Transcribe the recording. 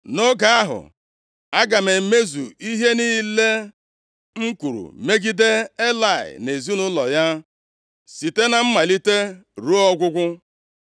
Nʼoge ahụ aga m emezu ihe niile m kwuru megide Elayị na ezinaụlọ ya, site na mmalite ruo ọgwụgwụ.